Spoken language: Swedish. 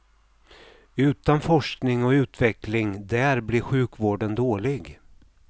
Utan forskning och utveckling där blir sjukvården dålig.